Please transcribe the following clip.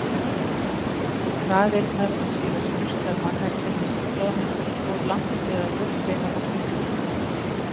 traðirnar var síðan sturtað mannakjöti sem troðningurinn fór langt með að úrbeina og sulta.